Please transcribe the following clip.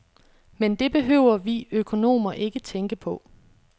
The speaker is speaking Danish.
Men det behøver vi økonomer ikke tænke på.